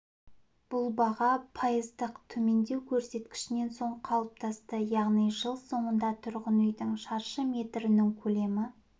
бұл баға пайыздық төмендеу көрсеткішінен соң қалыптасты яғни жыл соңында тұрғын үйдің шаршы метрінің көлемі